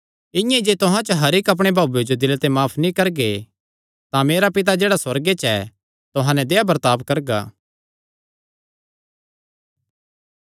इआं ई जे तुहां च हर इक्क अपणे भाऊये जो दिले ते माफ नीं करगे तां मेरा पिता जेह्ड़ा सुअर्गे च ऐ तुहां नैं देहया बर्ताब करगा